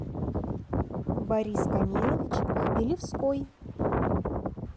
борис камилович хмелевской